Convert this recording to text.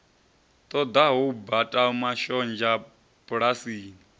ṱoḓaho u bata mashonzha bulasini